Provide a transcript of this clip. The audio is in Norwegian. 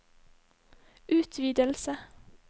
utvidelse